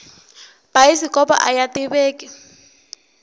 bayisikopo aya tiveki